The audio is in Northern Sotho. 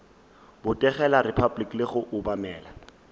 botegela repabliki le go obamela